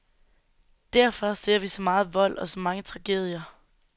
Derfor ser vi så meget vold og så mange tragedier.